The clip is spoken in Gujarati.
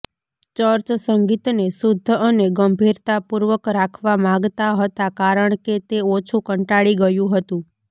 ચર્ચ સંગીતને શુદ્ધ અને ગંભીરતાપૂર્વક રાખવા માગતા હતા કારણ કે તે ઓછું કંટાળી ગયું હતું